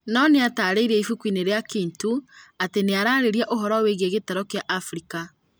Nonĩatarĩirie ibuku-inĩ rĩa "Kintu" atĩ nĩrarĩria ũhoro wĩgie gĩtaro kĩa Afrika